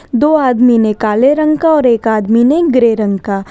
दो आदमी ने काले रंग का और एक आदमी ने ग्रे रंग का--